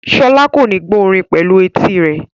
Sola kò ní gbọ́ orin pẹ̀lú etí rẹ̀.